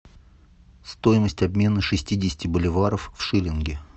стоимость обмена шестидесяти боливаров в шиллинги